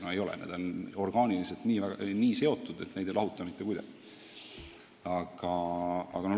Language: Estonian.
No ei ole, need on orgaaniliselt nii seotud, et neid ei lahuta mitte kuidagi.